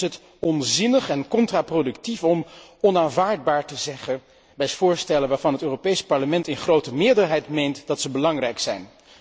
Dan is het onzinnig en contraproductief om onaanvaardbaar te zeggen bij voorstellen waarvan het Europees Parlement in grote meerderheid meent dat zij belangrijk zijn.